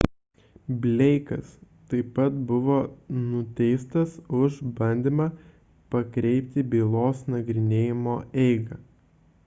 bleikas taip pat buvo nuteistas už bandymą pakreipti bylos nagrinėjimo eigą